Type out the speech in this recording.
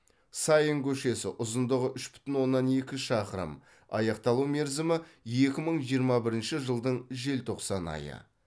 саин көшесі ұзындығы үш бүтін оннан екі шақырым аяқталу мерзімі екі мың жиырма бірінші жылдың желтоқсан айы